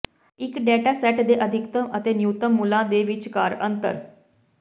ਇੱਕ data set ਦੇ ਅਧਿਕਤਮ ਅਤੇ ਨਿਊਨਤਮ ਮੁੱਲਾਂ ਵਿਚਕਾਰ ਅੰਤਰ